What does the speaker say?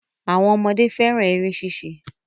Àwọn ọmọdé fẹ́ran eré ṣíṣe